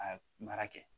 A mara kɛ